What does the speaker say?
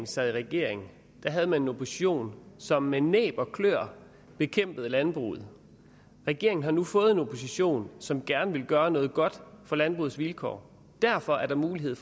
sad i regering havde man en opposition som med næb og kløer bekæmpede landbruget regeringen har nu fået en opposition som gerne vil gøre noget godt for landbrugets vilkår derfor er der mulighed